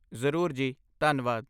ਜ਼ਰੂਰ ਜੀ, ਧੰਨਵਾਦ।